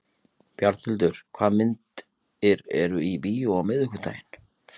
Bjarnhildur, hvaða myndir eru í bíó á miðvikudaginn?